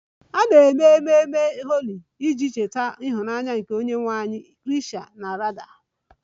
A na-eme ememe Holi iji cheta ịhụnanya nke onyenwe anyị Krishna na Radha